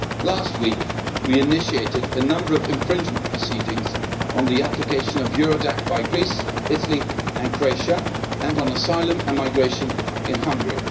Last week we initiated a number of infringement proceedings on the application of Eurodac by Greece, Italy and Croatia, and on asylum and migration in Hungary.